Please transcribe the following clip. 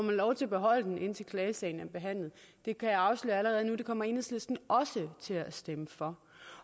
man lov til at beholde den indtil klagesagen er behandlet jeg kan afsløre allerede nu at det kommer enhedslisten også til at stemme for